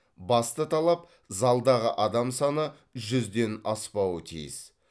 басты талап залдағы адам саны жүзден аспауы тиіс